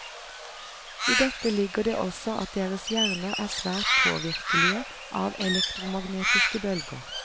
I dette ligger det også at deres hjerner er svært påvirkelige av elektromagnetiske bølger.